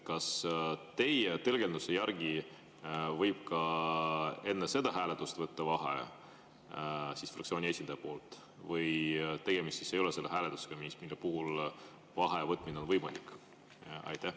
Kas teie tõlgenduse järgi võib fraktsiooni esindaja ka enne seda hääletust võtta vaheaja või tegemist ei ole sellise hääletusega, mille puhul vaheaja võtmine on võimalik?